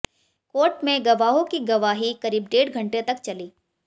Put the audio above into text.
court में गवाहों की ग्वाही करीब डेढ़ घंटे तक चली